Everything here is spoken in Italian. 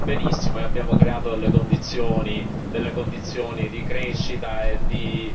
delle condizioni di crescita e di benessere fantastiche.